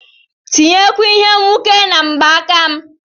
tinyekwuo Ihe nwuke na mgbaaka m